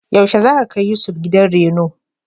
Yaushe za ka kai Yusuf gidan reno?